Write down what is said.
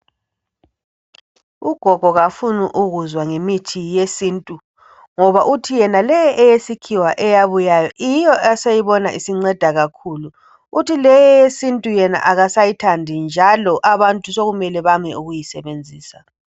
Ugogo kafuni ukuzwa ngemithi yesintu ngoba uthi yena leyi eyesikhiwa eyabuyayo yiyo aseyibona isinceda kakhulu uthi leyi eyesiNtu yena akasayithandi njalo abantu sekumele bame ukuyisebenzisa.